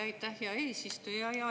Aitäh, hea eesistuja!